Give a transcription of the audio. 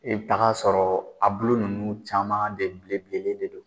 I bi taga sɔrɔ a bulu nunnu caman de bilen bilennen de don